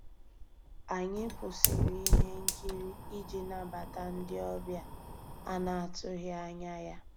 Ànyị́ kwụ́sị́rí íhé nkírí ìjì nabàtà ndị́ ọ̀bịá á ná-àtụ́ghị́ ànyá yá.